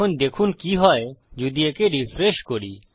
এখন দেখুন কি হয় যদি একে রিফ্রেশ করি